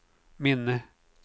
minne